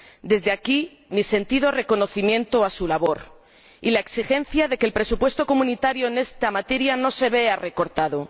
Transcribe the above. Desde aquí expreso mi sentido reconocimiento a su labor y la exigencia de que el presupuesto comunitario en esta materia no se vea recortado.